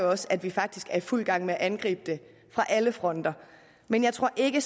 også at vi faktisk er i fuld gang med at angribe det fra alle fronter men jeg tror ikke